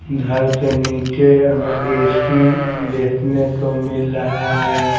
घर से नीचे हमें ए_सी देखने को मिल रहा है ।